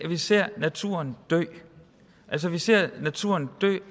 vi ser naturen dø altså vi ser naturen